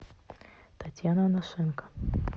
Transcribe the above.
татьяна анашенко